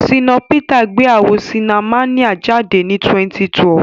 Ṣínà Pítà gbé àwò ṣinamáníà jáde ní 2012.